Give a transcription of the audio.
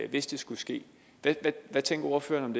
hvis det skulle ske hvad tænker ordføreren